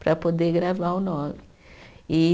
para poder gravar o nove. E